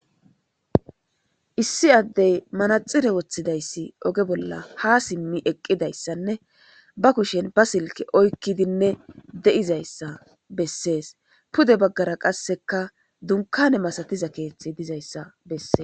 Issi addey manaxire woththidayssi oge bolla ha simmi eqqidayssanne ba kushen ba silke oykkidinne deizayssa bessees pude baggara qasseka dunkane masatiza keeththe dizayssa besses.